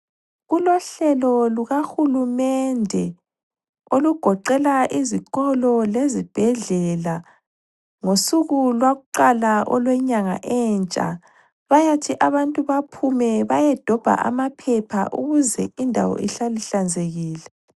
Kulohlelo luka hulumende olugoqela izikolo lezibhedlela ngosuku lwakuqala olwenyanga entsha. Bayathi abantu bephume beyodobha amaphepha ukuze indawo ihlale ihlanzekile.